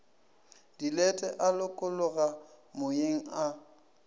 dilete a lokologa moyeng a